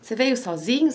Você veio sozinho?